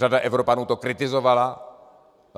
Řada Evropanů to kritizovala.